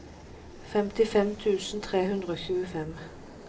femtifem tusen tre hundre og tjuefem